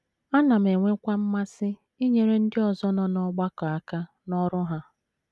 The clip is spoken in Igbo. Ana m enwekwa mmasị inyere ndị ọzọ nọ n’ọgbakọ aka n’ọrụ ha.